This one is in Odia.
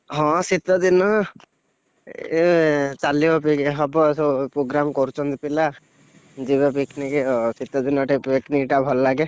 ହଁ ଶୀତ ଦିନ, ଏ ଚାଲିବ ପି ହବ ସବୁ program କରୁଛନ୍ତି ପିଲା, ଯିବା picnic ଆଉ ଶୀତ ଦିନେ picnic ଟା ଭଲ ଲାଗେ।